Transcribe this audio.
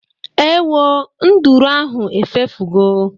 Ewo, nduru ahụ efefugo